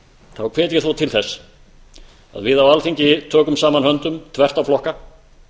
þá hvet ég þó til þess að við á alþingi tökum saman höndum þvert á flokka